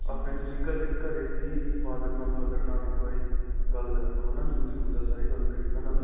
ਆਪਣੇ ਤੁਸੀਂ ਘਰੇ ਵੀ father ਨਾਲ, mother ਨਾਲ ਇੱਕ ਵਾਰੀ ਗੱਲ ਕਰਲੋ ਹੈ ਨਾ. ਜਰੂਰੀ ਹੁੰਦਾਂ ਸਾਰੀ ਗੱਲ ਕਰਨੀ ਉਨ੍ਹਾਂ ਨਾਲ.